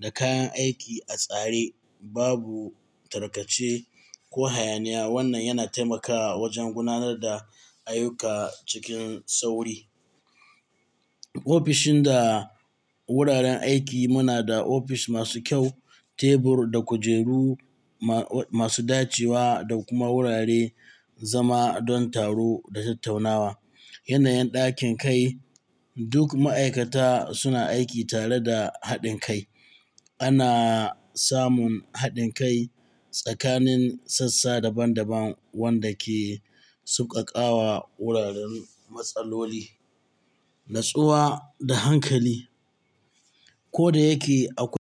da kayan aiki a tsare. Babu tarkace ko hayaniya. Wannan yana taimakawa wajen gudanar da ayyuka cikin sauri. Ofishin da wuraren aiki. Muna da ofis masu kyau, tebur da kujeru masu dacewa da kuma wurare zama don taro da tattaunawa. Yanayin ɗakin kai. Duk ma'aikata suna aiki tare da haɗin kai. Ana samun haɗin kai tsakanin sassa daban-daban wanda ke sauƙaƙawa wuraren matsaloli, nutsuwa da hankali. Ko da yake akwai.